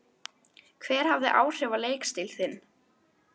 Hver hafði áhrif á leikstíl þinn?